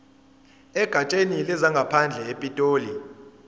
egatsheni lezangaphandle epitoli